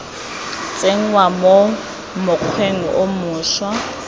tsenngwa mo mokgweng o mošwa